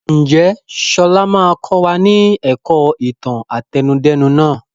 Ǹjẹ́ sọlá máa kọ wá ní ẹ̀kọ́ ìtàn àtẹnudẹ́nu nàá?